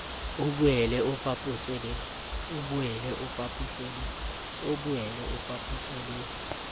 o boele o fapose le